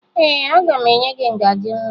Ee, aga m enye gị ngaji nwa